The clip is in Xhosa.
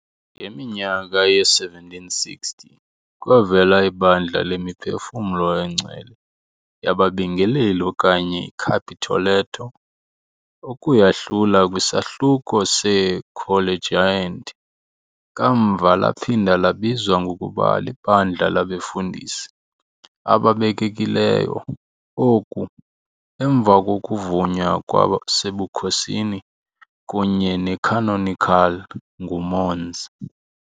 Ngeminyaka yee-1760, kwavela iBandla Lemiphefumlo Engcwele Yababingeleli okanye iCapitoletto, ukuyahlula kwiSahluko seeCollegiant, kamva laphinda labizwa ngokuba liBandla Labefundisi Ababekekileyo, oku, emva kokuvunywa kwasebukhosini kunye necanonical nguMons.